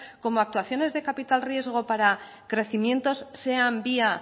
como actuaciones de capital riesgo para crecimientos sean vía